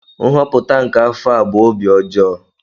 Nhọpụta nke afọ a bụ obi ọjọọ.